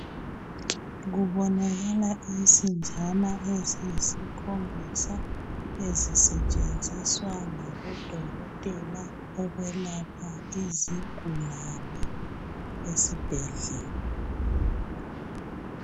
Kubonakala insinjana eziyisikhombisa ezisetshenziswa ngabodokotela ukwelapha izigulani esibhedlela